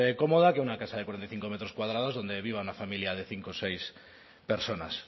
cómoda que una casa de cuarenta y cinco metros cuadrados donde viva una familia de cinco o seis personas